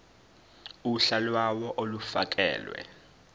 uhla lawo olufakelwe